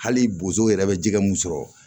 Hali bozow yɛrɛ bɛ jɛgɛ mun sɔrɔ